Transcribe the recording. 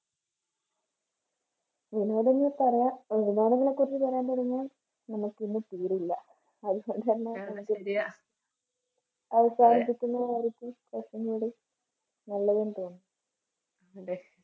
പറയാം കാര്യങ്ങളെക്കുറിച്ച് പറയാൻ തുടങ്ങിയാൽ നമുക്ക് ഇന്ന് തീരില്ല.